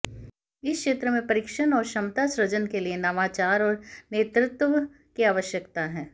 इस क्षेत्र में प्रशिक्षण और क्षमता सृजन के लिए नवाचार और नेतृत्व की आवश्यकता है